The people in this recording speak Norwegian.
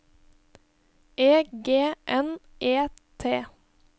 E G N E T